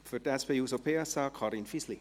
Für die SP-JUSO-PSA, Karin Fisli.